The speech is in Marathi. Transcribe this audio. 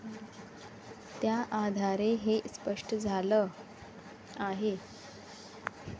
त्याआधारे हे स्पष्ट झालं आहे.